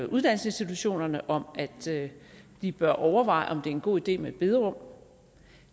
uddannelsesinstitutionerne om at de bør overveje om det er en god idé med et bederum